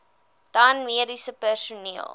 dan mediese personeel